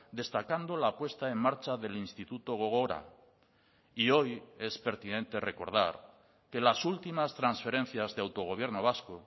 destacando la puesta en marcha del instituto gogora y hoy es pertinente recordar que las últimas transferencias de autogobierno vasco